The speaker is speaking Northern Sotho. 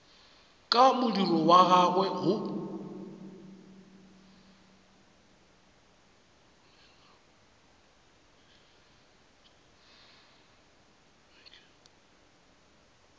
ka modiro wa gagwe go